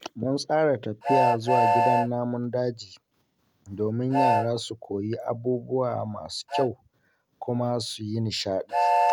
Mun tsara tafiya zuwa gidan namun daji domin yara su koyi abubuwa masu kyau kuma su yi nishaɗi.